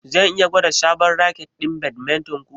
Zan iya gwada sabon raket ɗin badminton ku?